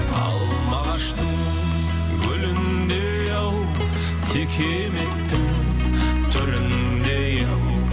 алма ағаштың гүліндей ау текеметтің түріндей ау